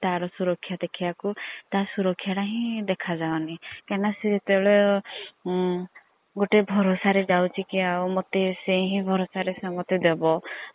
ତାର୍ ସୁରକ୍ଷା ଦେଖିବାକୁ ତା ସୁରକ୍ଷା ଟା ହିଁ ଦେଖା ଯାଉନି କାଇଁ ନାଁ ସିଏ ଜେତବେଳେ ଗୋଟେ ଭରସା ରେ ଯାଉଛି କି ମତେ ସେ ହିଁ ଭରସା ରେ ଦେବ